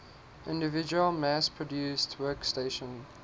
individual mass produced workstation